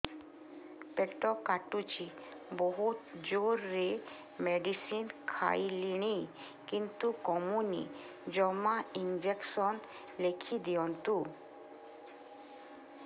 ପେଟ କାଟୁଛି ବହୁତ ଜୋରରେ ମେଡିସିନ ଖାଇଲିଣି କିନ୍ତୁ କମୁନି ଜମା ଇଂଜେକସନ ଲେଖିଦିଅନ୍ତୁ